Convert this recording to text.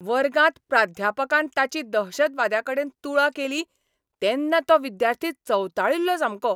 वर्गांत प्राध्यापकान ताची दहशतवाद्याकडेन तुळा केली तेन्ना तो विद्यार्थी चवताळिल्लो सामको.